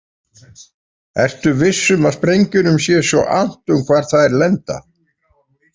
Ertu viss um að sprengjunum sé svo annt um hvar þær lenda?